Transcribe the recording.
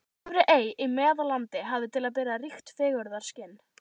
Efri-Ey í Meðallandi hafði til að bera ríkt fegurðarskyn.